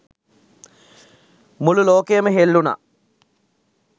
මුළු ලෝකයම හෙල්ලුනා